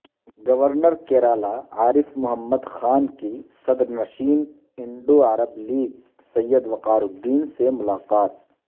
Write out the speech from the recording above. Governor Kerala عارف محمد خان کی صدر نشین انڈو عرب لیگ سید وقار الدین سے ملاقات